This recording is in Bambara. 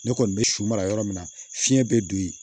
Ne kɔni bɛ su mara yɔrɔ min na fiɲɛ bɛ don yen